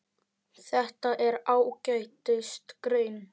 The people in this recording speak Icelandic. Þetta er ágætis grein.